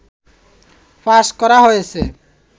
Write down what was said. pass করা হয়েছে